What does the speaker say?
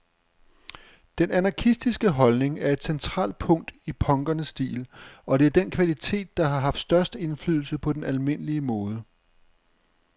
Den anarkistiske holdning er et centralt punkt i punkernes stil, og det er den kvalitet, der har haft størst indflydelse på den almindelige mode.